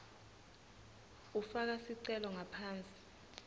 ufaka sicelo ngaphansi